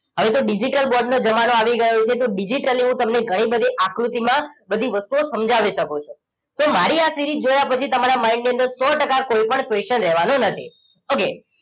હવે તો digital board નો જમાનો આવી ગયો છે તો digitally હું તમને ઘણી બધી આકૃતિમાં બધી વસ્તુઓ સમજાવી શકુ છું તો મારી આ series જોયા પછી તમારા mind ની અંદર સો ટકા કોઈપણ question રહેવાનો નથી okay